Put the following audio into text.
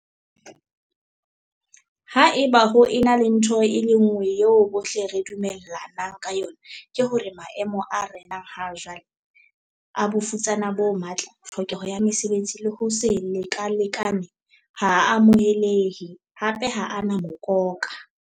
"Haeba ho ena le ntho e le nngwe eo bohle re dumell anang ka yona, ke hore maemo a renang ha jwale - a bofutsana bo matla, tlhokeho ya mesebetsi le ho se lekalekane - ha a amohelehe, hape ha a na mokoka."